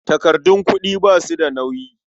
Takardun kuɗi ba su da nauyi.